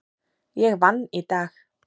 Ég vann í dag.